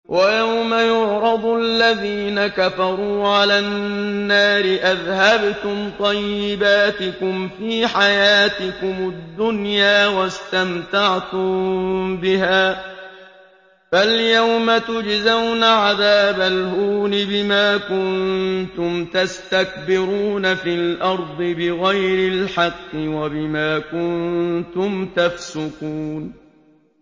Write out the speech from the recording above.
وَيَوْمَ يُعْرَضُ الَّذِينَ كَفَرُوا عَلَى النَّارِ أَذْهَبْتُمْ طَيِّبَاتِكُمْ فِي حَيَاتِكُمُ الدُّنْيَا وَاسْتَمْتَعْتُم بِهَا فَالْيَوْمَ تُجْزَوْنَ عَذَابَ الْهُونِ بِمَا كُنتُمْ تَسْتَكْبِرُونَ فِي الْأَرْضِ بِغَيْرِ الْحَقِّ وَبِمَا كُنتُمْ تَفْسُقُونَ